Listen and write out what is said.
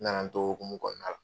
N na na n t'o hokumu kɔnɔna na.